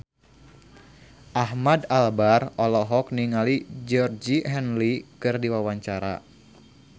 Ahmad Albar olohok ningali Georgie Henley keur diwawancara